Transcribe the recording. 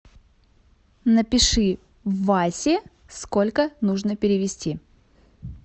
напиши васе сколько нужно перевести